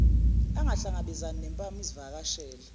angahlangabezani nempama izivakashela